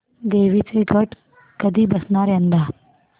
देवींचे घट कधी बसणार यंदा